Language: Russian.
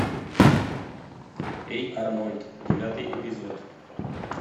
эй арнольд девятый эпизод